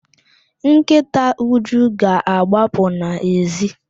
Nkịta Uju ga-agbapụ n'èzí.